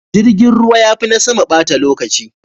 Jirgin ruwa ya fi na sama bata lokaci.